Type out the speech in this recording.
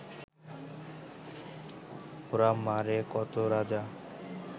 ওরা মারে কত রাজা